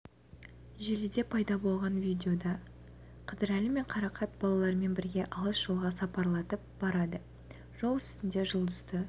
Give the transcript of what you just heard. желіде пайда болған видеода қыдырәлі мен қарақат балаларымен бірге алыс жолға сапарлатып барады жол үстінде жұлдызды